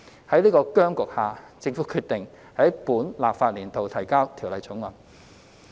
在此僵局下，政府決定在本立法年度提交《條例草案》。